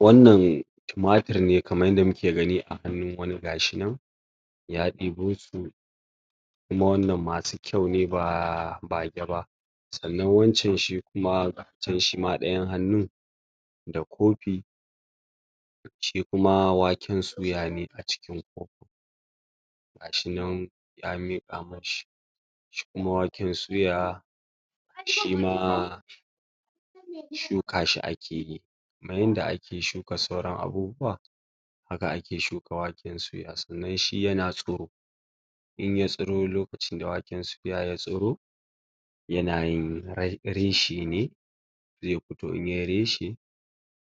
wannan tumatir ne kaman yanda muki gani a hanu wani gashi nan ya ɗibosu kuma wannan masu kyau ne ba bageba sannan wancan shikuma ga can shima dayan hanu da kofi shikuma waken suyane acikin kofin gashinan ya miƙa mashi shikuma waken suya shima shuka shi akiyi kaman yanda aki shuka sauran abubuwa haka aki shuka waken suya sannan shi yana tsiro inya tsiro lokacin da waken suya ya tsiro yanayin reshe ne zai fito inyayi reshe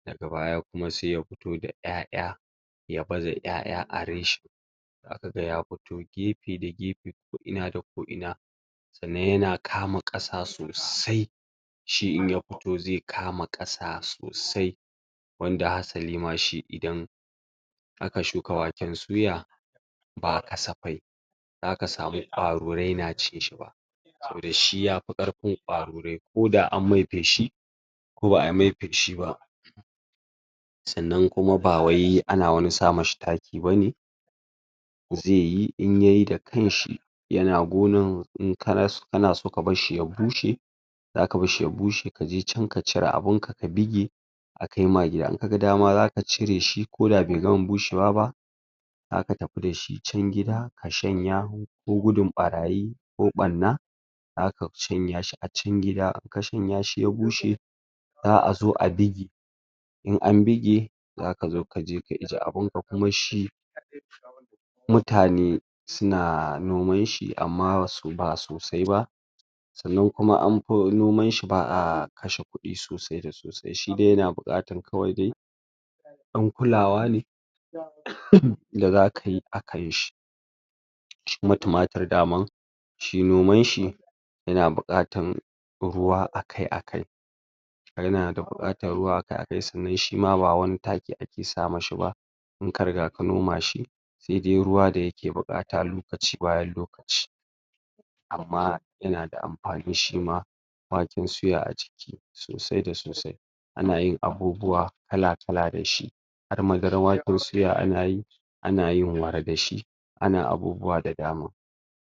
daga baya kuma sai yafito da ƴaƴa ya baza ƴaƴa a reshe zakaga ya fito gefe da gefe koina da koina sanan yana kama ƙasa sosai shi inya fito zai kama ƙasa sosai wanda hasalima shi idan aka shuka waken suya ba ƙasafe zakasamu ƙwarure na cinshi ba saboda shi yafi ƙarfin ƙwarure koda anmai fishi ko ba'a mai fishi ba sannan kuma awai ana wani samashi taki bane zaiyi intayi da kashi yana gonan inkan so kabarshi ya bushe zaka barshi ya bushe kaja can ka cire abinka bege akai ma gida inkaga dama zaka cire shi koda be gama bushewa ba zaka tafi dashi can gida ka shanya ko gudun ɓarayi ko ɓarna zaka shanyashi a cikin gida ka shanyashi ya bushe za'azo a ɓige in an ɓige zakazo kaje ka ije abinka kuma shi mutane suna nomanshi amma ba sosai ba sannan kuma anfi nomanshi ba'a kashe kuɗi sosai da sosai shidai yana buƙatar kawai dai dan kulawa ne da zakayi akan shi shikuma tumatir daman shi nomanshi yana buƙatan ruwa akai-akai yana buƙatan ruwa akai-akai sannan shima ba wani taki aki samashi ba in kariga ka nomashi saidai ruwa dayake buƙata lokachi bayan lokachi amma yanada anfani shima waken suya ajiki sosai da sosai anayin abubuwa kala-kala dashi har madaran waken suya anayi anayin wara dashi ana abubuwa da dama